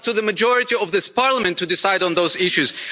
It's up to the majority of this Parliament to decide on those issues.